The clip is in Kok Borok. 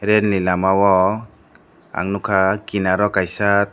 railni lamao ang nukha kinar o kaisa.